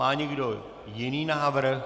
Má někdo jiný návrh?